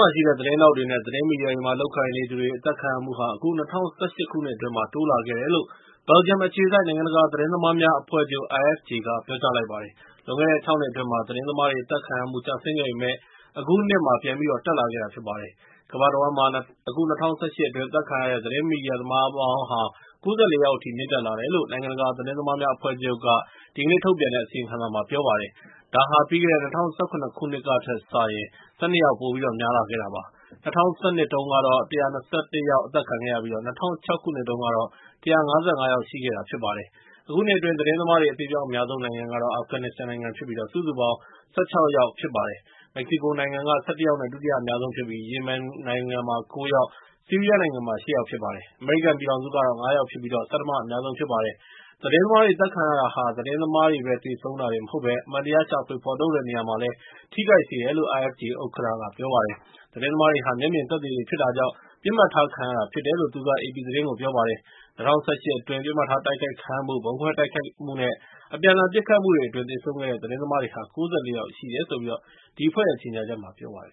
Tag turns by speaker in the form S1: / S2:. S1: ှာရှိတဲ့ သတင်းထောက်တွေ နဲ့ သတင်းမီဒီယာတွေမှာ လုပ်ကိုင်နေသူတွေ အသတ်ခံရမှုဟာ အခု ၂၀၁၈ ခုနှစ်အတွင်းမှာ တိုးလာခဲ့တယ်လို့ ဘယ်လ်ဂျီယမ်အခြေစိုက် နိုင်ငံတကာသတင်းသမားများအဖွဲ့ချုပ် (IFJ) က ပြောကြားလိုက်ပါတယ်။ လွန်ခဲ့တဲ့ ၆ နှစ်အတွင်းမှာ သတင်းသမားတွေ အသတ်ခံရမှု ကျဆင်းခဲ့ပေမယ့်၊ အခုနှစ်မှာ ပြန်ပြီးတော့ တက်လက်ခဲ့တာဖြစ်ပါတယ်။ ကမ္ဘာတဝှမ်းမှာ အခု၂၀၁၈ အတွင်း အသတ်ခံရတဲ့ သတင်းမီဒီယာ သမားပေါင်းဟာ ၉၄ ယောက်အထိ မြင့်တက်လာခဲ့တယ်လို့ နိုင်ငံတကာသတင်းသမားများအဖွဲ့ချုပ် ဒီကနေ့ ထုတ်ပြန်တဲ့အစီရင်ခံစာမှာပြော ပါတယ်။ ဒါဟာ ပြီးခဲ့တဲ့ ၂၀၁၇ ခုနှစ်ကထက်စာရင် ၁၂ ယောက် ပိုများလာခဲ့တယ်လို့ ပြောပါတယ်။ ၂၀၁၂ တုန်းကတော့ ၁၂၁ ယောက် အသတ်ခံခဲ့ရပြီး၊ ၂၀၀၆ မှာတော့ ၁၅၅ ယောက်ရှိခဲ့တာဖြစ်ပါတယ်။ အခုနှစ်အတွင်း သတင်းသမားတွေ အသေအပျောက်အများဆုံးနိုင်ငံကတော့ အာဖဂန်နစ္စတန်နိုင်ငံဖြစ်ပြီး ၊ စုစုပေါင်း သတင်းသမား ၁၆ ယောက်သတ်ခံခဲ့ရတာဖြစ်ပါတယ်။ မက္ကဆီကိုနိုင်ငံက ၁၁ ယောက်နဲ့ ဒုတိယအများဆုံးဖြစ်ပြီး ရီမင်နိုင်ငံမှာ ၉ ယောက် ၊ ဆီးရီးယားနိုင်ငံမှာ ၈ ယောက်ဖြစ်ပါတယ်။ အမေရိကန်ပြည်ထောင်စုမှာတော့ ၅ ယောက်ဖြစ်ပြီး ဆဌမအများဆုံးဖြစ်ပါတယ်။ သတင်းသမားတွေအသတ်ခံရတာဟာ သတင်းသမားတွေ သေဆုံးတာတင်မဟုတ်ဘဲ၊ အမှန်တရား ရှာဖွေဖော်ထုတ်တဲ့နေရာမှာလည်း ထိခိုက်တယ်လို့ IFJ ဥက္ကဋ္ဌက ပြောပါတယ်။ သတင်းသမားတွေဟာ မျက်မြင်သက်သေတေ ဖြစ်တာကြောင့် ပစ်မှတ်ထားခံရတာ ဖြစ်တယ်လို့ သူက အေပီသတင်းကို ပြောပါတယ်။ ၂၀၁၈ အတွင်း ပစ်မှတ်ထားတိုက်ခိုက်ခံရမှု၊ ဗုံးခွဲတိုက်ခိုက်မှု နဲ့ အပြန်အလှန်ပစ်ခတ်မှု အတွင်း သေဆုံးတဲ့ သတင်းသမားတွေဟာ ၉၄ ယောက်ရှိတယ်လို့လည်း ဒီအဖွဲ့ရဲ့ ကြေငြာချက်မှာ ပြောထားပါတယ်